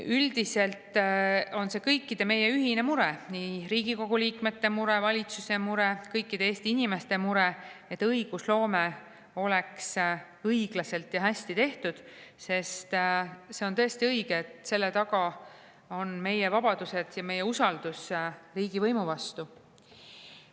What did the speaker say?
Üldiselt on see meie kõigi ühine mure – nii Riigikogu liikmete mure, valitsuse mure kui ka kõikide Eesti inimeste mure –, et õigusloome oleks õiglaselt ja hästi tehtud, sest see on tõesti õige, et selle taga on meie vabadused ja meie usaldus riigivõimu vastu.